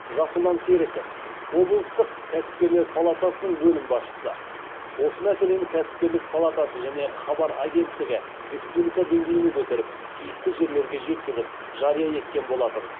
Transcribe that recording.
жасұлан серіков облыстық кәсіпкерлер палатасының бөлім басшысы осы мәселені кәсіпкерлік палатасы және хабар агенттігі республика деңгейіне көтеріп тиісті жерлерге жеткізіп жария еткен болатын